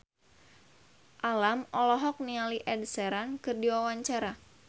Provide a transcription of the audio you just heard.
Alam olohok ningali Ed Sheeran keur diwawancara